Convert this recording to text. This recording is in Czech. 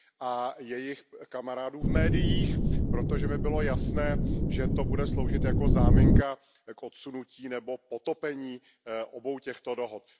a jejich kamarádů v médiích, protože mi bylo jasné, že to bude sloužit jako záminka k odsunutí nebo potopení obou těchto dohod.